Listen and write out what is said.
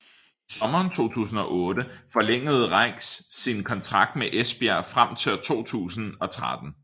I sommeren 2008 forlængede Rieks sin kontrakt med Esbjerg frem til 2013